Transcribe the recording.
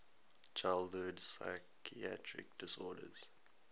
childhood psychiatric disorders